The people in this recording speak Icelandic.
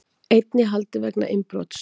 Einn í haldi vegna innbrots